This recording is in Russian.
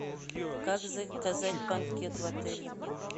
как заказать банкет в отеле